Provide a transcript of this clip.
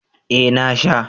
Ee na sha.